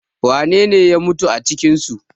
wanene ya mutu a cikinsu?